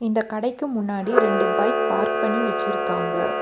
இந்த கடைக்கு முன்னாடி ரெண்டு பைக் பார்க் பண்ணி வெச்சிருக்காங்க.